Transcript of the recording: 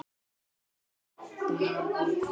Þinn Davíð.